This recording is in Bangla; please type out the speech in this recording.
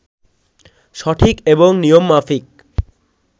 সঠিক এবং নিয়ম মাফিক